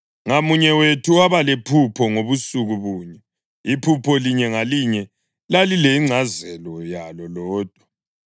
Ngamunye wethu waba lephupho ngobusuku bunye, iphupho linye ngalinye lalilengcazelo yalo lodwa.